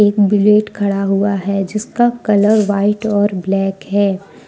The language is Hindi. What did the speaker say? एक बुलेट खड़ा हुआ है जिसका कलर व्हाइट और ब्लैक है।